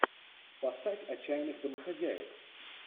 поставь отчаянных домохозяек